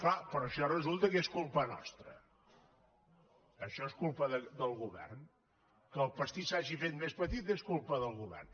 clar però això resulta que és culpa nostra això és culpa del govern que el pastís s’hagi fet més petit és culpa del govern